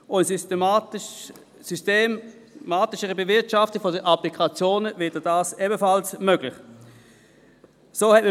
Dadurch wird eine systematischere Bewirtschaftung der Applikationen möglich sein.